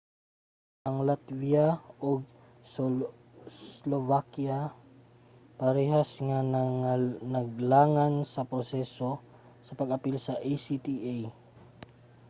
ang latvia ug slovakia parehas nga naglangan sa proseso sa pag-apil sa acta